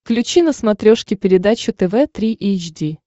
включи на смотрешке передачу тв три эйч ди